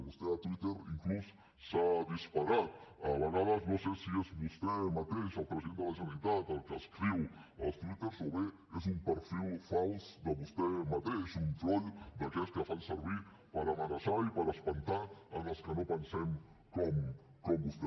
vostè a twitter inclús s’ha disparat a vegades no sé si és vostè mateix el president de la generalitat el que escriu els twitters o bé és un perfil fals de vostè mateix un trol d’aquests que fan servir per amenaçar i per espantar els que no pensem com vostè